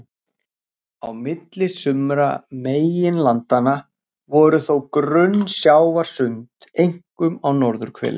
Á milli sumra meginlandanna voru þó grunn sjávarsund, einkum á norðurhveli.